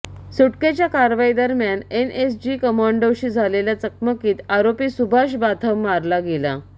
सुटकेच्या कारवाई दरम्यान एनएसजी कमांडोंशी झालेल्या चकमकीत आरोपी सुभाष बाथम मारला गेला